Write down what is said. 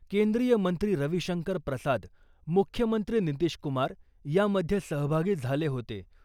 केंद्रीय मंत्री रविशंकर प्रसाद , मुख्यमंत्री नितीशकुमार यामध्ये सहभागी झाले होते .